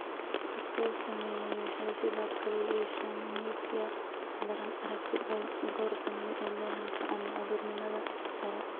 Dadka uu saameeyey waxay sidoo kale yeeshaan myopia daran (aragti dhow) goor dambe ee dhallaanka ama carruurnimada hore.